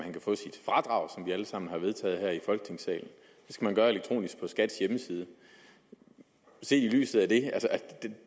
vi alle sammen har vedtaget her i folketingssalen det skal man gøre elektronisk på skats hjemmeside set i lyset af